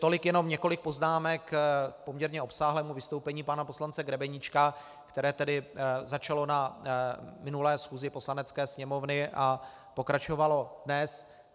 Tolik jenom několik poznámek k poměrně obsáhlému vystoupení pana poslance Grebeníčka, které tedy začalo na minulé schůzi Poslanecké sněmovny a pokračovalo dnes.